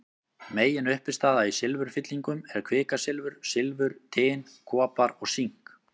Meginuppistaða í silfurfyllingum er kvikasilfur, silfur, tin, kopar og sink.